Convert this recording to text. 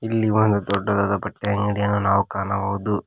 ಇಲ್ಲಿ ಒಂದ್ ದೊಡ್ಡದಾದ ಬಟ್ಟೆ ಅಂಗಡಿಯನ್ನು ನಾವು ಕಾಣಬಹುದು.